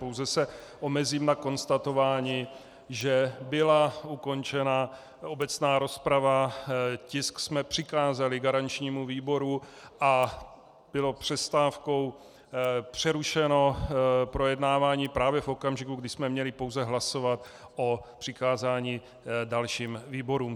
Pouze se omezím na konstatování, že byla ukončena obecná rozprava, tisk jsme přikázali garančnímu výboru a bylo přestávkou přerušeno projednávání právě v okamžiku, kdy jsme měli pouze hlasovat o přikázání dalším výborům.